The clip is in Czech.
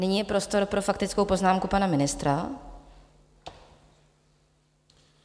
Nyní je prostor pro faktickou poznámku pana ministra.